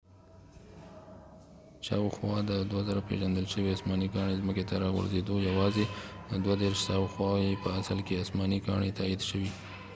شاوخوا د ۲۴،۰۰۰ پیژندل شوي اسماني کاڼي ځمکې ته راغورځیدلي، یوازې ۳۴ شاوخوا یې په اصل کې اسماني کاڼي تایید شويدي